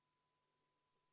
V a h e a e g